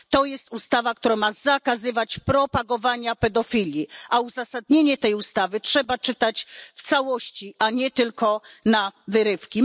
To jest ustawa, która ma zakazywać propagowania pedofilii, a uzasadnienie tej ustawy trzeba czytać w całości, a nie tylko na wyrywki.